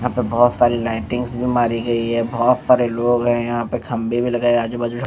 यहाँ पे बहुत सारी लाइटिंग्स भी मारी गई है बहुत सारे लोग है यहाँ पे खम्भे भी लगा हैं आजू-बाजू --